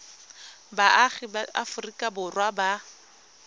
baagi ba aforika borwa ba